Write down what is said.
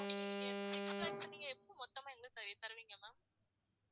six lakhs நீங்க மொத்தமா என்கிட்ட தருவிங்க தருவிங்க ma'am